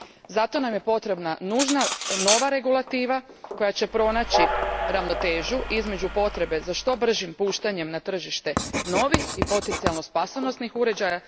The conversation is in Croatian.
Zato nam je potrebna nužna nova regulativa koja će pronaći ravnotežu između potrebe za što bržim puštanjem na tržište novih i potencijalno spasonosnih uređaja